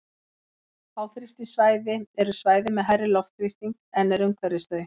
háþrýstisvæði eru svæði með hærri loftþrýsting en er umhverfis þau